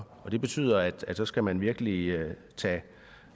og det betyder at så skal man virkelig